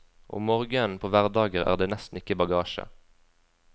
Om morgenen på hverdager er det nesten ikke bagasje.